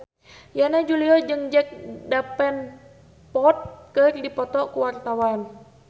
Yana Julio jeung Jack Davenport keur dipoto ku wartawan